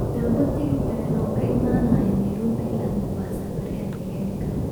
Dalbo tigidh tareen oo ka imanaya nairobi ilaa mombasa berri haddii la heli karo